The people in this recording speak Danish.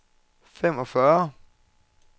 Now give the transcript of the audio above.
femogfyrre